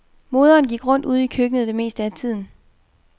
Moderen gik rundt ude i køkkenet det meste af tiden.